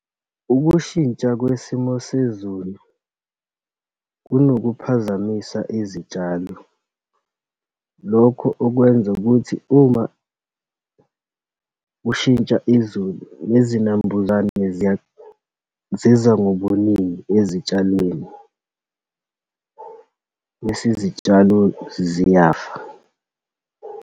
Ukushintsha kwesimo sezulu kunokuphazamisa izitshalo. Lokhu okwenza ukuthi uma kushintsha izulu, nezinambuzane ziza ngobuningi ezitshalweni, bese izitshalo ziyafa.